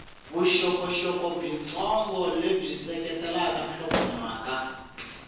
vuxokoxoko byitsongo lebyi seketelaka nhlokomhaka